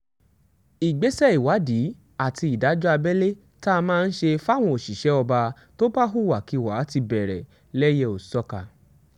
ìgbésẹ̀ ìwádìí àti ìdájọ́ abẹ́lé tá a máa ń ṣe fáwọn òṣìṣẹ́ ọba tó bá hùwàkiwà ti bẹ̀rẹ̀ lẹ́yẹ-ò-sọkà